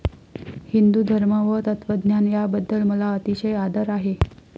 हिन्दू धर्म व तत्त्वज्ञान याबद्दल मला अतिशय आदर आहे.